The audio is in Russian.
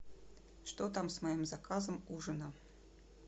что там с моим заказом ужина